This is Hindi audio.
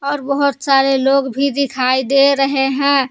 और बहोत सारे लोग भी दिखाई दे रहे हैं।